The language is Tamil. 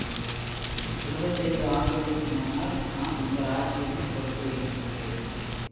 இருபத்தைந்து ஆண்டுகளுக்கு முன்னால் நான் இந்த ராஜ்யத்தின் பொறுப்பை ஏற்றுக்கொண்டேன்